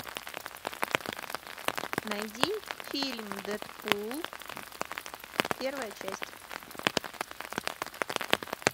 найди фильм дэдпул первая часть